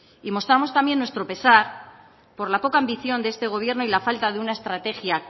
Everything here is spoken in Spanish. y mostramos también nuestro pesar por la poca ambición de este gobierno y la falta de una estrategia